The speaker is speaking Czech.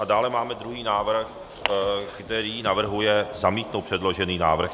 A dále máme druhý návrh, který navrhuje zamítnout předložený návrh.